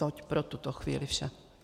Toť pro tuto chvíli vše.